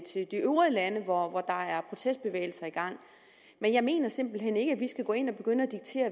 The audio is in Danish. øvrige lande hvor der er protestbevægelser i gang jeg mener simpelt hen ikke at vi skal gå ind og begynde